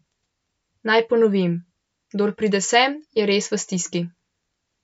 Naj ponovim, kdor pride sem, je res v stiski.